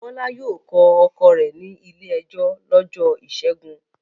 Bọ́lá yóò kọ ọkọ rẹ̀ ní ilé-ẹjọ́ lọ́jọ́ ìṣẹ́gun.